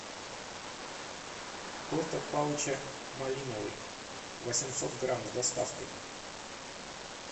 торт от палыча малиновый восемьсот грамм с доставкой